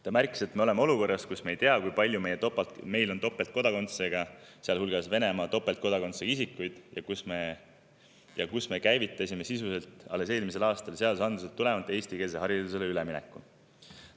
Ta märkis, et me oleme olukorras, kus me ei tea, kui palju meil on topeltkodakondsusega, sealhulgas Venemaa kodakondsusega topeltkodakondsusega isikuid, ja kus me sisuliselt alles eelmisel aastal seadusandlusest tulenevalt käivitasime eestikeelsele haridusele ülemineku.